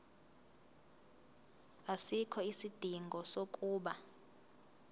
asikho isidingo sokuba